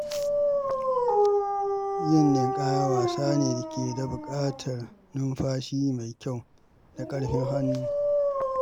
Yin ninƙaya wasa ne da ke buƙatar numfashi mai kyau da ƙarfin hannu.